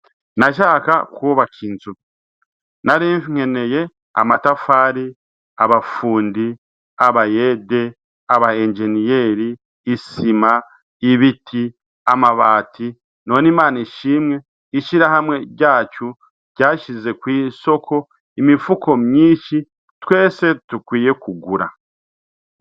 Nashaka kwubaka inzu. Narinkeneye amatafari, abafundi, abayede, aba enjeniyeri, isima, ibiti, amabati, none Imana ishimwe ishirahamwe ryacu ryasize kw'isoko imifuko myinshi twese dukwiye kugura.